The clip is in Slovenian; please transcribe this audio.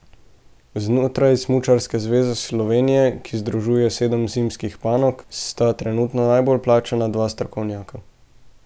Znotraj Smučarske zveze Slovenije, ki združuje sedem zimskih panog, sta trenutno najbolj plačana dva strokovnjaka.